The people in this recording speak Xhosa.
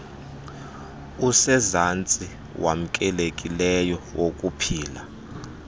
usezantsi wamkelekileyo wokuphila